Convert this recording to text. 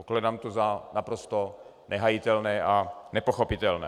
Pokládám to za naprosto nehájitelné a nepochopitelné.